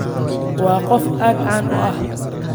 Waa qof aad caan u ah